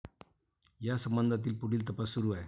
या संबंधातील पुढील तपास सुरू आहे.